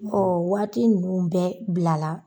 O waati ninnu bɛɛ bilala.